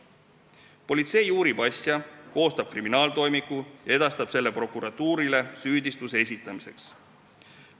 Politsei uurib asja, koostab kriminaaltoimiku ja edastab selle prokuratuurile süüdistuse esitamiseks.